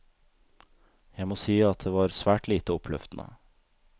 Jeg må si at det var svært lite oppløftende.